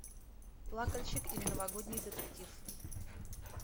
плакальщик или новогодний детектив